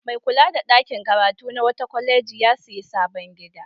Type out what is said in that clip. Mai kula da ɗakin karatu na wata kwaleji ya sayi sabon gida.